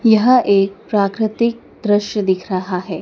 यह एक प्राकृतिक दृश्य दिख रहा है।